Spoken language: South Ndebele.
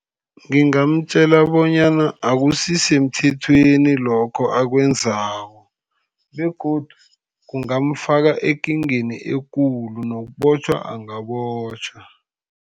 Ngingamtjela bonyana akusi semthethweni lokho akwenzako, begodu kungamfaka ekingeni ekulu. Nokubotjhwa angabotjhwa.